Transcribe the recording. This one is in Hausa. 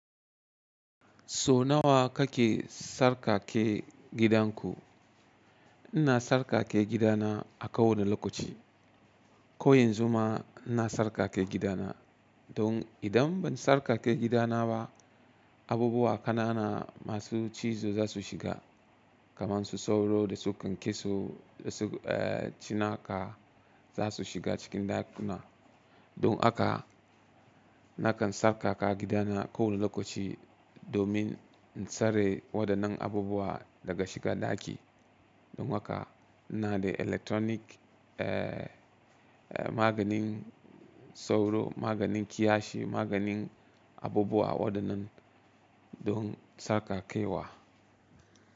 So nawa kake tsarkake gidanku? Ina tsarkake gidana a kowane lokaci. Ko yanzu ma ina tsarkake gidana. Don idan ban sarƙaƙe gidana ba, abubuwa ƙanana masu cizo za su shiga. Kaman su sauro da su kyankeso da su, eh, cinaka za su shiga cikin ɗakuna. Don haka nakan tsarkaka gidana a kowane lokaci domin in tsare waɗannan abubuwa daga shiga ɗaki. Don haka ina da electronic, eh, maganin sauro, maganin kiyashi, maganin abubuwa waɗannan don sarƙaƙewa.